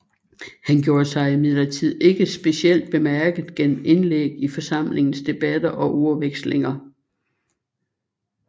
Han gjorde sig imidlertid ikke specielt bemærket gennem indlæg i forsamlingens debatter og ordvekslinger